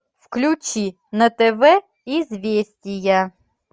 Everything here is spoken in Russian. включи на тв известия